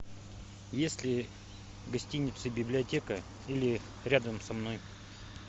есть ли в гостинице библиотека или рядом со мной